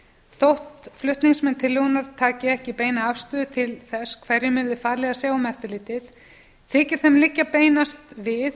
þótt flutningsmenn tillögunnar taki ekki beina afstöðu til þess hverjum yrði falið að sjá um eftirlitið þykir þeim liggja beinast við